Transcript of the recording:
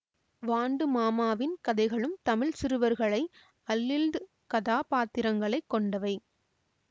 வாண்டுமாமாவின் கதைகளும் தமிழ் சிறுவர்களை அல்ல்து கதா பாத்திரங்களைக் கொண்டவை